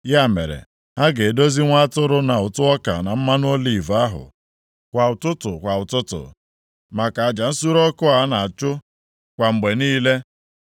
Ya mere, ha ga-edozi nwa atụrụ na ụtụ ọka na mmanụ oliv ahụ, kwa ụtụtụ kwa ụtụtụ, maka aja nsure ọkụ a na-achụ kwa mgbe niile.